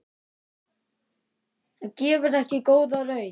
Það gefur ekki góða raun.